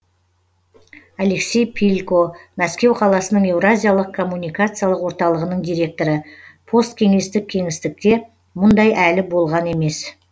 алексей пилько мәскеу қаласының еуразиялық коммуникациялық орталығының директоры посткеңестік кеңістікте мұндай әлі болған емес